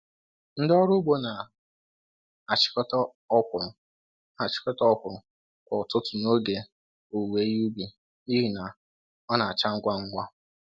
Ndị ọrụ ugbo na achikọta okwuru na achikọta okwuru kwa ụtụtụ n'oge owuwe ihe ubi n'ihi na ọ na acha ngwa ngwa.